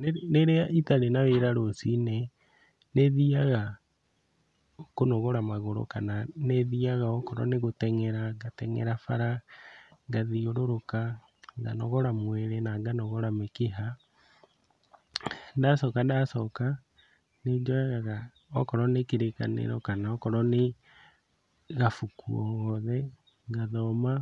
Rĩrĩa itarĩ na wĩra rũciinĩ nĩthiaga kũnogora magũrũ kana nĩthiaga okorwo nĩ gũteng'era, ngateng'era bara ngathiũrũrũka, nganogora mwĩrĩ na nganogora mĩkiha. Ndacoka ndacoka nĩnjoyaga okorwo nĩ Kĩrĩkanĩro kana okorwo nĩ gabuku o gothe, ngathoma,